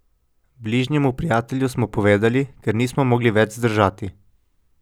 Bližnjemu prijatelju smo povedali, ker nismo mogli več zdržati.